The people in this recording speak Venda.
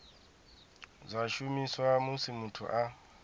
zwa shumiswa musi muthu a